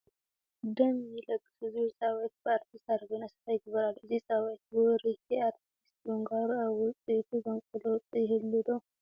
ደም ይለግሱ ዝብል ፃውዒት ብኣርቲስት ሃረገወይኒ ኣሰፋ ይግበር ኣሎ፡፡ እዚ ፃውዒት ብውርይቲ ኣርቲስት ምግባሩ ኣብ ውፅኢቱ ዘምፅኦ ለውጢ ይህሉ ዶ?